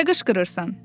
Nə qışqırırsan?